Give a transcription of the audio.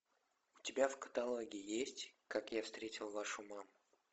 у тебя в каталоге есть как я встретил вашу маму